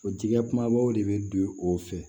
O jigikɛ kumabaw de bɛ don o fɛ